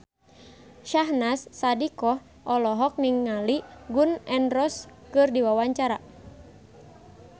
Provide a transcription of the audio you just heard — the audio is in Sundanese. Syahnaz Sadiqah olohok ningali Gun N Roses keur diwawancara